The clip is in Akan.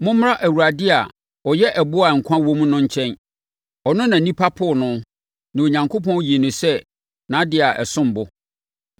Mommra Awurade a ɔyɛ ɛboɔ a nkwa wom no nkyɛn. Ɔno na nnipa poo no, na Onyankopɔn yii no sɛ nʼadeɛ a ɛsom bo.